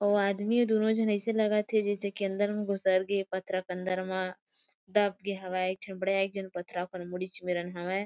उ आदमी हे दोनो जन ऐसे लगत हे जेसे के अंदर में घुसर गए पथरा के अंदर मा। दब् गे हवाए एक ठिन बदेक्जन पथरा ओकर मुडीच मेर हावे .--